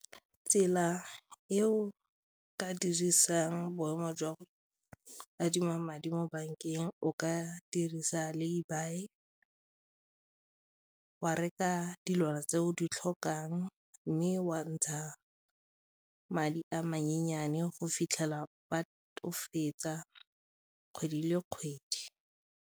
Tsela e o ka dirisang boemo jwa go adima madi mo bankeng o ka dirisa laybuy, wa reka dilwana tse o di tlhokang mme wa ntsha madi a go fitlhela o fetsa kgwedi le kgwedi.